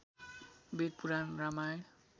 Veda Purana Ramayana